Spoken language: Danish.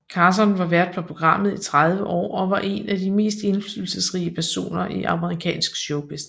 Carson var vært på programmet i 30 år og var en af de mest indflydelsesrige personer i amerikansk showbusiness